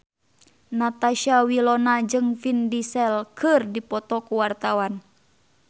Natasha Wilona jeung Vin Diesel keur dipoto ku wartawan